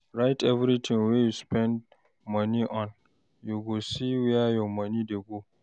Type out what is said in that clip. Write everytin wey you spend moni on, you go see where your moni dey go.